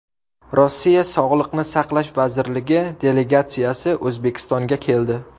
Rossiya sog‘liqni saqlash vazirligi delegatsiyasi O‘zbekistonga keldi.